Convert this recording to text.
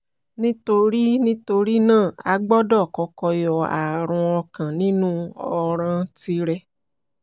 nítorí nítorí náà a gbọ́dọ̀ kọ́kọ́ yọ ààrùn ọkàn nínú ọ̀ràn tìrẹ